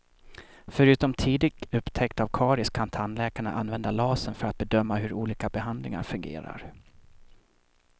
Förutom tidig upptäckt av karies kan tandläkarna använda lasern för att bedöma hur olika behandlingar fungerar.